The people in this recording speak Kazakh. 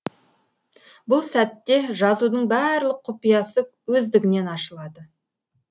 бұл сәтте жазудың барлық құпиясы өздігінен ашылады